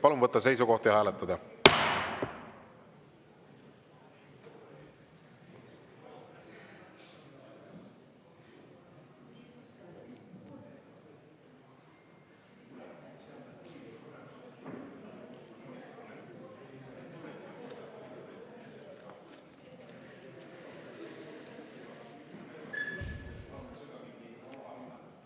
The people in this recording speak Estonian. Palun võtta seisukoht ja hääletada!